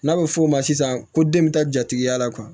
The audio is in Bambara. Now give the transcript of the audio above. N'a bɛ f'o ma sisan ko den bɛ taa jatigiya la